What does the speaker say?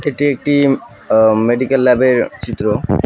এটি একটি অ মেডিকেল ল্যাবের চিত্র।